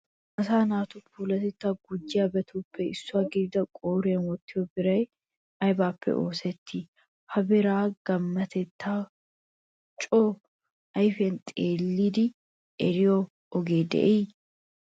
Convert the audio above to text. Asaa naatu Puulatettaa gujjiyabatuppe issuwa gidida qooriyan wottiyo biray aybippe oosettii? Ha biraa gammatettaa coo ayfiyan xeellidi eriyo ogee de'ii?